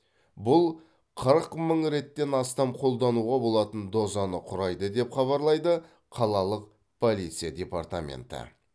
бұл қырық мың реттен астам қолдануға болатын дозаны құрайды деп хабарлайды қалалық полиция департаменті